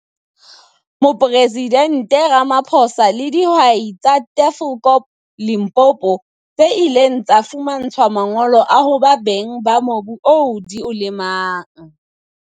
Mopresidente Ramaphosa le dihwai tsa Tafelkop, Limpopo, tse ileng tsa fumantshwa mangolo a ho ba beng ba mobu oo di o lemang.